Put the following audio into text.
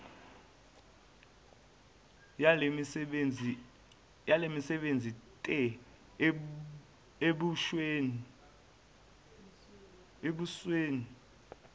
wayesemanzi te ebusweni